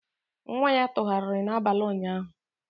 Nwa ya tụgharịrị n'abalị ụnyaahụ.